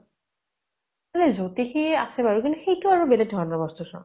নাই জোতিষি আছে বাৰু কিন্তু সেইতো আকৌ বেলেগ ধৰণৰ বস্তু চোৱা ।